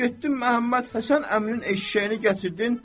Getdim Məhəmmədhəsən əminin eşşəyini gətirdin.